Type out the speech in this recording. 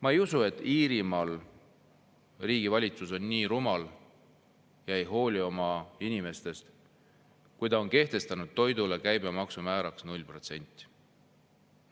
Ma ei usu, et Iirimaa valitsus on rumal ja ei hooli oma inimestest, kui ta on kehtestanud toidu käibemaksu määraks 0%.